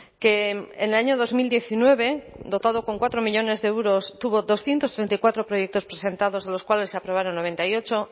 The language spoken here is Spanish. que en el año dos mil diecinueve dotado con cuatro millónes de euros tuvo doscientos treinta y cuatro proyectos presentados de los cuales se aprobaron noventa y ocho